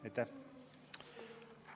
Aitäh!